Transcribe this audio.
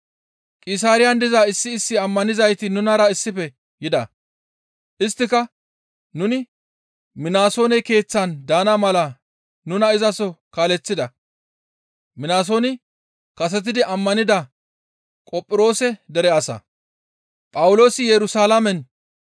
Qisaariyan diza issi issi ammanizayti nunara issife yida; isttika nuni Minasoone keeththan daana mala nuna izaso kaaleththida; Minasooni kasetidi ammanida Qophiroose dere asa.